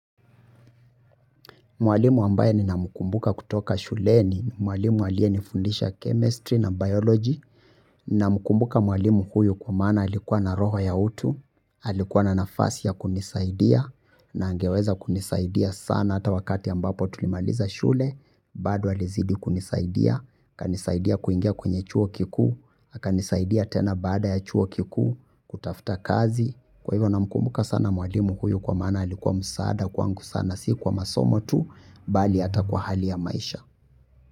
Mwalimu ambaye ni na mkumbuka kutoka shule ni mwalimu aliyenifundisha chemistry na biology na mkumbuka mwalimu huyu kwa mana alikuwa na roho ya utu, alikuwa na nafasi ya kunisaidia na angeweza kunisaidia sana ata wakati ambapo tulimaliza shule, bado alizidi kunisaidia, akanisaidia kuingia kwenye chuo kikuu, akanisaidia tena baada ya chuo kikuu, kutafuta kazi. Kwa hivyo na mkumbuka sana mwalimu huyu kwa maana alikuwa msaada kwangu sana si kwa masomo tu, bali ata kwa hali ya maisha.